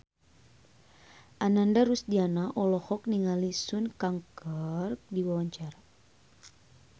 Ananda Rusdiana olohok ningali Sun Kang keur diwawancara